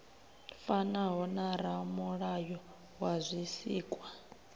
fanaho na ramulayo wa zwisikwa